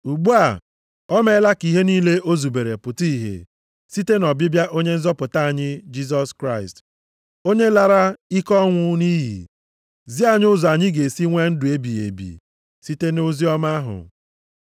Ugbu a, o meela ka ihe niile o zubere pụta ìhè site nʼọbịbịa Onye nzọpụta anyị Jisọs Kraịst, onye lara ike ọnwụ nʼiyi, zi anyị ụzọ anyị ga-esi nwee ndụ ebighị ebi site nʼoziọma ahụ.